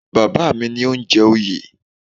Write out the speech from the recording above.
Bàbá mi ni ó ń jẹ oyè